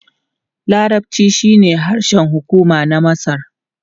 Larabci shine harshen hukuma na Masar.